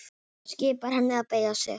Skipar henni að beygja sig.